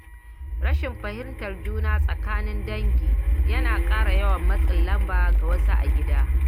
Rashin fahimtar juna tsakanin dangi yana ƙara yawan matsin lamba ga wasu a gida.